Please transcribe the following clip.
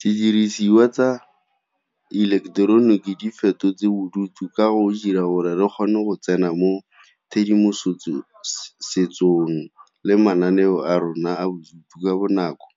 Didirisiwa tsa ileketeroniki di fetotse bodutu ka go dira gore re kgone go tsena mo tshedimosetsong le mananeo a rona a bodutu ka bonako,